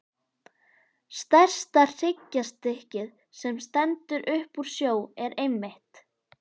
Stærsta hryggjarstykkið, sem stendur upp úr sjó, er einmitt